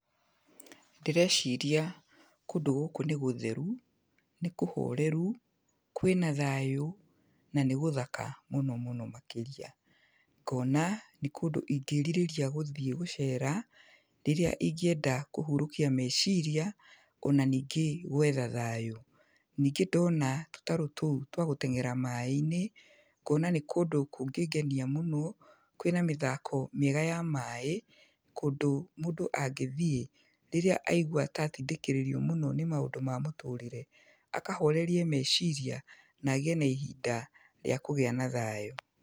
Ndĩreciria kũndũ gũkũ nĩ gũtheru, nĩ kũhoreru, kwĩna thayũ na nĩ gũthaka mũno mũno makĩria. Ngona nĩ kũndũ ingĩrirĩria gũthiĩ gũceera, rĩrĩa ingĩenda kũhũrũkia meciria, ona ningĩ gwetha thayũ. Ningĩ ndona tũtarũ tũu twa gũteng'era maaĩ-inĩ, ngona nĩ kũndũ kũngĩngenia mũno, kwĩna mĩthako mĩega ya maaĩ, kũndũ mũndũ angĩthiĩ rĩrĩa aigua ta atindĩkĩrĩrio mũno nĩ maũndũ ma mũtũrĩre, akahorerie meciria na agĩe na ihinda rĩa kũgĩa na thayũ.